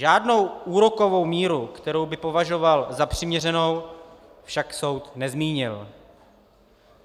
Žádnou úrokovou míru, kterou by považoval za přiměřenou, však soud nezmínil.